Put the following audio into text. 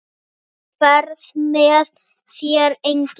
Á ferð með þér enginn.